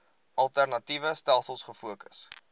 alternatiewe stelsels gefokus